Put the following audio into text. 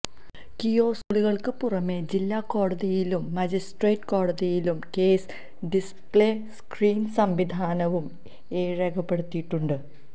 കിയോസ്കുകള്ക്ക് പുറമേ ജില്ലാ കോടതിയിലും മജിസ്ട്രേറ്റ് കോടതിയിലും കേസ് ഡിസ്പ്ളേ സ്ക്രീന് സംവിധാനവും ഏര്പ്പെടുത്തിയിട്ടുണ്ട്